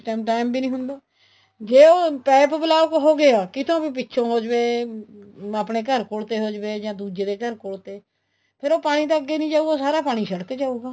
ਕਿਸ time time ਵੀ ਨਹੀਂ ਹੁੰਦਾ ਜ਼ੇ ਉਹ ਪੈਪ block ਹੋ ਗਏ ਕਿੱਥੋ ਵੀ ਪਿੱਛੋ ਹੋ ਜਵੇ ਆਪਣੇ ਘਰ ਕੋਲ ਤੇ ਹੋ ਜਾਵੇ ਜਾ ਦੂਜੇ ਦੇ ਘਰ ਕੋਲ ਤੇ ਫ਼ੇਰ ਉਹ ਪਾਣੀ ਤਾਂ ਅੱਗੇ ਨਹੀਂ ਜਾਉਗਾ ਸਾਰਾ ਪਾਣੀ ਸੜਕ ਚ ਆਉਗਾ